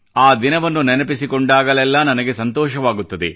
ಆ ದಿನವನ್ನು ನೆನಪಿಸಿಕೊಂಡಾಗಲೆಲ್ಲಾ ನನಗೆ ಸಂತೋಷವಾಗುತ್ತದೆ